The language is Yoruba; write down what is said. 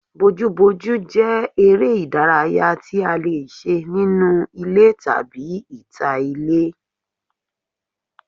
Bojúbojú jẹ́ eré ìdárayá tí a lè ṣe nínú ilé tàbí ní ìta ilé